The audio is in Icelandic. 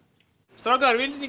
strákar viljið